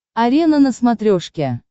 арена на смотрешке